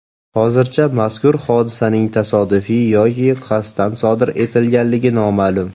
Hozircha mazkur hodisaning tasodif yoki qasddan sodir etilganligi noma’lum.